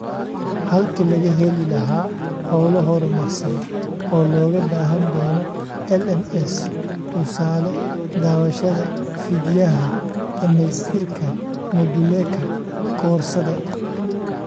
Halkii laga heli lahaa hawlo horumarsan oo looga baahan doono LMS (tusaale, daawashada fiidyaha, dhamaystirka moduleka koorsada).